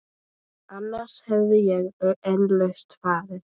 Annars hefði ég eflaust farið.